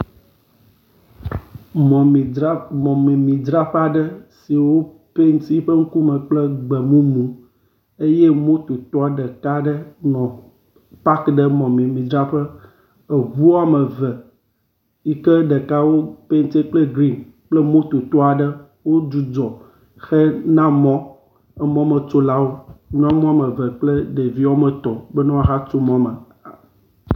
Mɔmemidzraƒe aɖe si wo penti eƒe ŋkume kple gbemumu eye mototɔ ɖeka aɖe nɔ pak ɖe mɔmemidzraƒe. Eŋu woame eve yike ɖeka wo penti kple grin kple mototɔ aɖe wodzudzɔ hena mɔ emɔmetsolawo, nyɔnu woame eve kple ɖevi woame etɔ̃ be ne woahatso mɔ me.